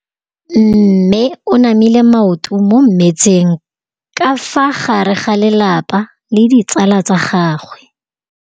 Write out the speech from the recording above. Mme o namile maoto mo mmetseng ka fa gare ga lelapa le ditsala tsa gagwe.